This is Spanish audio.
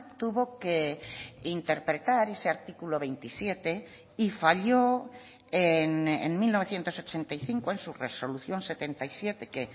tuvo que interpretar ese artículo veintisiete y falló en mil novecientos ochenta y cinco en su resolución setenta y siete que